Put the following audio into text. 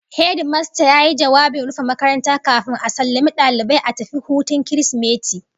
Hedimasta yayi jawabin rufe makaranta kafin a sallamo dalibai a tafi hutun Kirsimeti